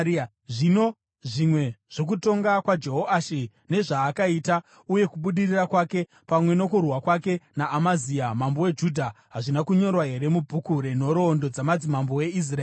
Zvino zvimwe zvokutonga kwaJehoashi, nezvaakaita uye kubudirira kwake, pamwe nokurwa kwake naAmazia mambo weJudha, hazvina kunyorwa here mubhuku renhoroondo dzamadzimambo eIsraeri?